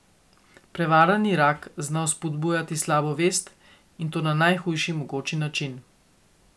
Prevarani rak zna vzbujati slabo vest, in to na najhujši mogoči način.